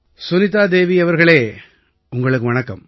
சுனிதா தேவி அவர்களே உங்களுக்கு வணக்கம்